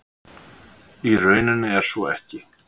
Í rauninni er svo ekki